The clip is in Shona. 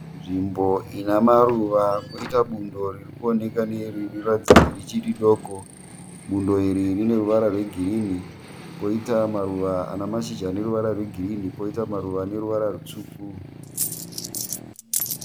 Nzvimbo inemaruva poita bundo ririkuoneka rinoratidza kuti richiridoko. Bundo iri rine ruvara rwegirinhi . Poita maruva ane mashizha ane ruvara rwegirinhi. Poita maruva ane ruvara rutsvuku .